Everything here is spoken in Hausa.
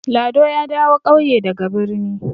Lado ya dawo ƙauye daga birni.